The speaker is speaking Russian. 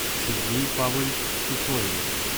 сергею павловичу сысоеву